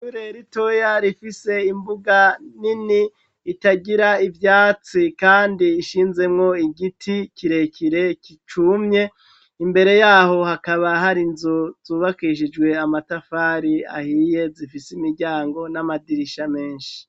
Itureri toya rifise imbuga nini ,itagira ibwatsi kandi ishinzemwo igiti, kirekire ,kicumye ,imbere yaho hakaba hari nzu ,zubakishijwe amatafari ahiye ,zifise imiryango n'amadirisha menshi.